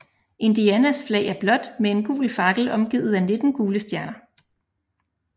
Indianas flag er blåt med en gul fakkel omgivet af nitten gule stjerner